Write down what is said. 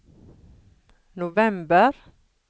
november